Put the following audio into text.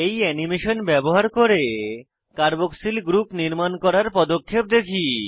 এই অ্যানিমেশন ব্যবহার করে কার্বক্সিল গ্রুপ নির্মাণ করার পদক্ষেপ দেখি